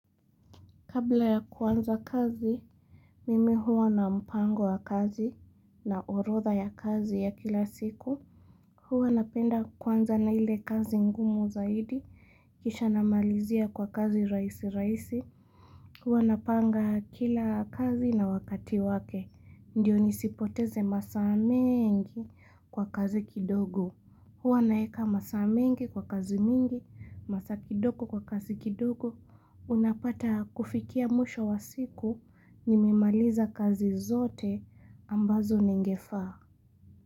Kabla ya kwanza kazi, mimi huwa na mpango wa kazi na orodha ya kazi ya kila siku. Huwa napenda kwanza na ile kazi ngumu zaidi. Kisha na malizia kwa kazi rahisi rahisi. Huwa napanga kila kazi na wakati wake. Ndiyo nisipoteze masaa mengi kwa kazi kidogo. Huwa naeka masa mengi kwa kazi mingi, masa kidogo kwa kazi kidogo. Unapata kufikia mwisho wa siku ni mimaliza kazi zote ambazo ningefaa.